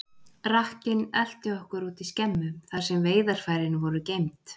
Rakkinn elti okkur út í skemmu, þar sem veiðarfærin voru geymd.